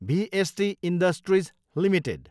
भिएसटी industries Ltd